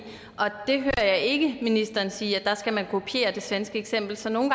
og jeg hører ikke ministeren sige at man skal kopiere det svenske eksempel så nogle